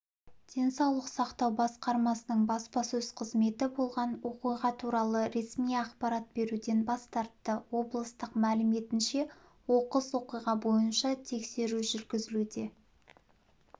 денсаулық сақтау басқармасының баспасөз қызметі болған оқиға туралы ресми ақпарат беруден бас тартты облыстық мәліметінше оқыс оқиға бойынша тексеру жүргізілуде